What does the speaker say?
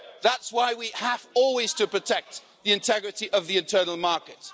That's why we have always to protect the integrity of the internal market.